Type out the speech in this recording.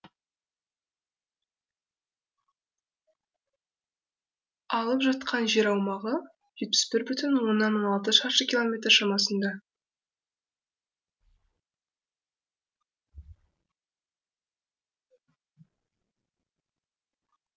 алып жатқан жер аумағы жетпіс бір бүтін оннан алты шаршы километр шамасында